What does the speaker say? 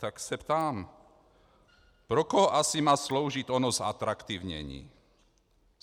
Tak se ptám, pro koho asi má sloužit ono zatraktivnění.